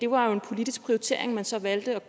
var en politisk prioritering man så valgte